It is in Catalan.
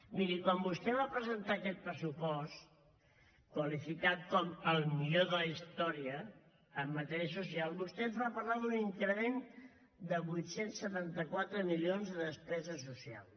miri quan vostè va presentar aquest pressupost qualificat com el millor de la història en matèria social vostè ens va parlar d’un increment de vuit cents i setanta quatre milions de despesa social